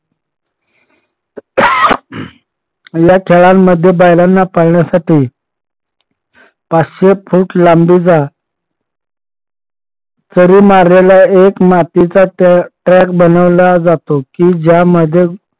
या खेळांमध्ये बैलांना पळण्यासाठी पाचशे फूट लांबीचा चरी मारलेला एक track बनवला जातो कि ज्यामध्ये